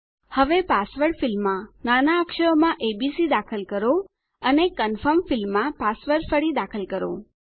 હવે પાસવર્ડ ફિલ્ડમાં નાના અક્ષરોમાં એબીસી દાખલ કરો અને કન્ફર્મ ફિલ્ડમાં પાસવર્ડ ફરી દાખલ કરો